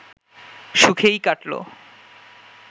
সুখেই কাটল